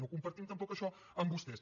no compartim tampoc això amb vostès